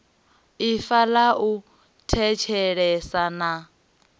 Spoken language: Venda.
ifa ḽa u thetshelesa na